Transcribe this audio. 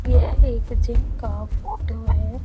यह एक जिम का फोटो है।